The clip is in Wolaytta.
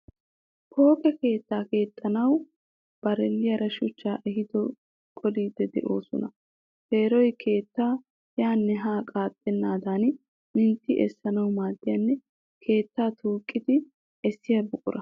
Pooqe keettaa keexxanawu bareellaara shuchchaa ehido qoliiddi doosona. Peeroy keettay yaanne haa qaaxxennaadan mintti essanawu maaddiyanne keettaa tuuqidi essiya buqura.